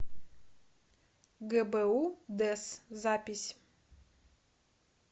гбу дэсс запись